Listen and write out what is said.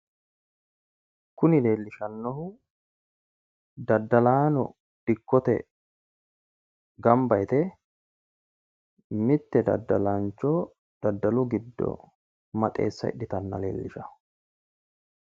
Kuni leelishannohu daddalaano dikkote ganba yite mitte daddalaancho daddalu giddo maxeesa hidhitanna leelishawo